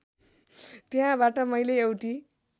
त्यहाँबाट मैले एउटी